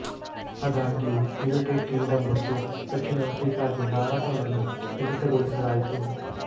ಆದಾಗ್ಯೂ United Kingdom ಮತ್ತು ದಕ್ಷಿಣ ಆಫ್ರಿಕಾ ಗೆ ಹಾರಾಟಗಳನ್ನು ಸ್ಥಗಿತಗೊಳಿಸಲಾಯಿತು